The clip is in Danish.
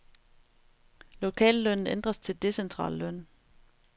Lokallønnen ændres til decentral løn.